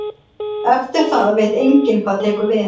Eftir það veit enginn hvað tekur við.